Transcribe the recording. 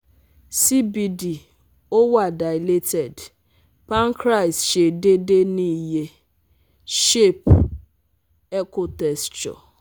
CBD o wa dilated, pancreas se dede ni iye, shape, echo texture